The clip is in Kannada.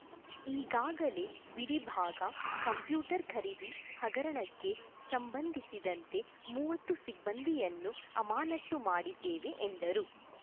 ಈಗಾಗಲೇ ಬಿಡಿ ಭಾಗ ಕಂಪ್ಯೂಟರ್ ಖರೀದಿ ಹಗರಣಕ್ಕೆ ಸಂಬಂಧಿಸಿದಂತೆ ಮೂವತ್ತು ಸಿಬ್ಬಂದಿಯನ್ನು ಅಮಾನತ್ತು ಮಾಡಿದ್ದೇವೆ ಎಂದರು